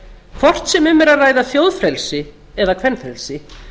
hvort sem um er að ræða þjóðfrelsi eða kvenfrelsi